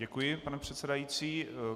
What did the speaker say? Děkuji, pane předsedající.